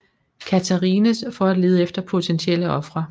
Catharines for at lede efter potentielle ofre